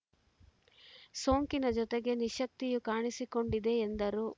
ಸೋಂಕಿನ ಜೊತೆಗೆ ನಿಶಕ್ತಿಯೂ ಕಾಣಿಸಿಕೊಂಡಿದೆ ಎಂದರು